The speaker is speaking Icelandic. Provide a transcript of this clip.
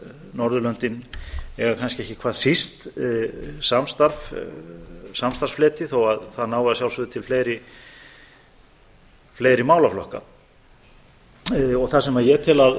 norðurlöndin eiga kannski ekki hvað síst samstarfsfleti þó að það nái að sjálfsögðu til fleiri málaflokka það sem ég tel að